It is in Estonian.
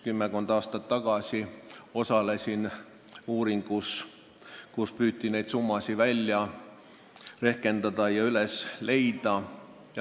Kümmekond aastat tagasi ma osalesin ise ka uuringus, kus püüti neid dokumente leida ja summasid välja rehkendada.